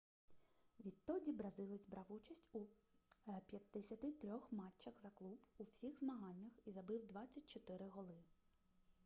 відтоді бразилець брав участь в 53 матчах за клуб у всіх змаганнях і забив 24 голи